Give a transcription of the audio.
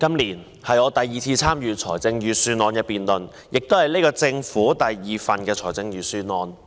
今年是我第二次參與財政預算案辯論，這亦是現屆政府的第二份預算案。